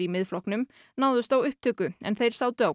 Miðflokknum náðust á upptöku er þeir sátu á